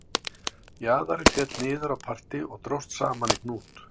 Jaðarinn féll niður á parti og dróst saman í hnút